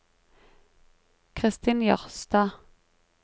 Kristin Jørstad